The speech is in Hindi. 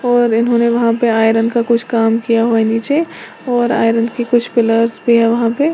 और इन्होंने वहां पे आयरन का कुछ काम किया हुआ नीचे और आयरन की कुछ पिलर्स भी है वहां पे--